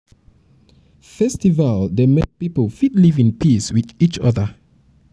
festival dey make pipo fit live in peace with each oda